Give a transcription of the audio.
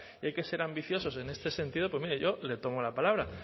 y hay que ser ambiciosos en este sentido pues mire yo le tomo la palabra